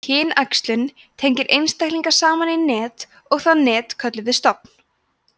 kynæxlun tengir einstaklinga saman í net og það net köllum við stofn